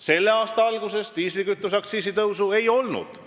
Selle aasta alguses diislikütuse aktsiisi tõusu ei olnud.